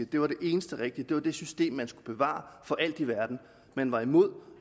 det var det eneste rigtige det var det system man skulle bevare for alt i verden man var imod